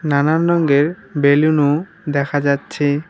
নানান রঙ্গের বেলুন -ও দেখা যাচ্ছে।